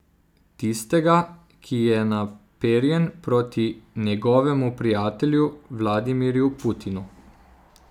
Tistega, ki je naperjen proti njegovemu prijatelju Vladimirju Putinu.